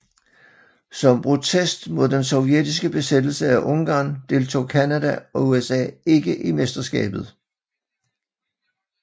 Som protest mod den sovjetiske besættelse af Ungarn deltog Canada og USA ikke i mesterskabet